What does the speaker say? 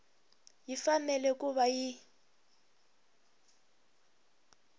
yi fanele ku va yi